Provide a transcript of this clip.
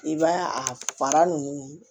I b'a a fara ninnu